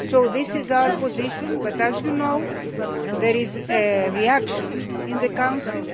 This is our position but, as you know, there is a reaction in the Council.